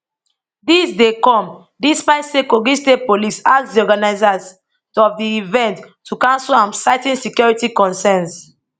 dis dey come despite say kogi state police ask di organisers of di event to cancel am citing security concerns